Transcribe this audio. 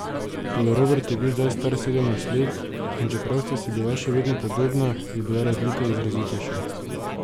Toda Robert je bil zdaj star sedemnajst let, in čeprav sta si bila še vedno podobna, je bila razlika izrazitejša.